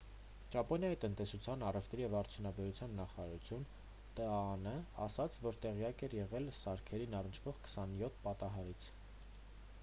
ճապոնիայի տնտեսության առևտրի և արդյունաբերության նախարարությունն տաան ասաց որ տեղյակ էր եղել սարքերին առնչվող 27 պատահարից: